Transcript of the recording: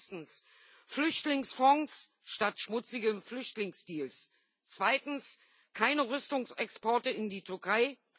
Erstens Flüchtlingsfonds statt schmutzigen Flüchtlingsdeals. Zweitens keine Rüstungsexporte in die Türkei.